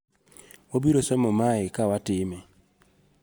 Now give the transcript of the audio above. Wabiro somo mae ka watime.